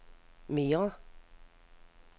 mere